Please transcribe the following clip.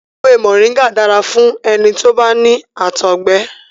Èwé Moringa dára fún ẹni tó bá ní àtọ̀gbẹ.